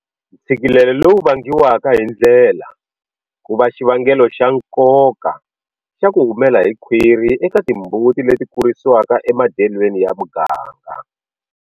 Ntshikilelo lowu vangiwaka hi ndlela ku va xivangelo xa nkoka xo ku humela hi khwiri eka timbuti leti kurisiwaka emadyelweni ya muganga.